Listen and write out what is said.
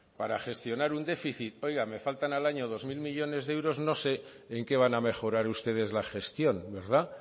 para gestionar un déficit oiga me faltan al año dos mil millónes de euros no sé en qué van a mejorar ustedes la gestión verdad